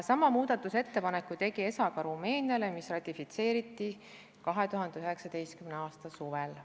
Sama muudatusettepaneku tegi ESA ka Rumeeniale, see ratifitseeriti 2019. aasta suvel.